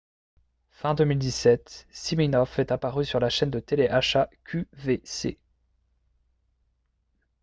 fin 2017 siminoff est apparu sur la chaîne de télé-achat qvc